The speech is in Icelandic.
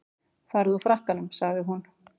Farðu úr frakkanum sagði hún.